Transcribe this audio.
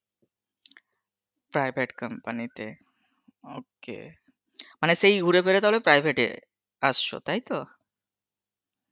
private company তে, ok, মানে সেই ঘুরে ফিরে সেই private এ অসছো তাইতো?